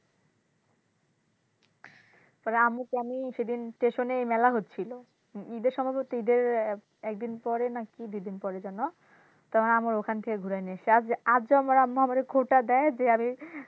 পরে আম্মুকে আমি সেদিন স্টেশনে মেলা হচ্ছিলো ইদের সময় তো ইদের একদিন পরে না কি দুদিন পরে যেন তারপরে আবার ওখান থেকে ঘুরায় নিয়ে এসছি আর যে আম্মু আমারে খোটা দেয় যে আমি,